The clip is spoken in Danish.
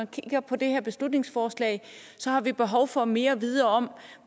kigger på det her beslutningsforslag har vi behov få mere at vide om